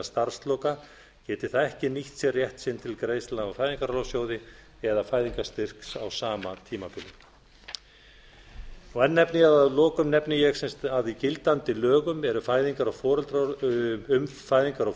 starfsloka geti það ekki nýtt sér rétt sinn til greiðslna úr fæðingarorlofssjóði eða fæðingarstyrks á sama tímabili að lokum nefni ég að í gildandi lögum um fæðingar og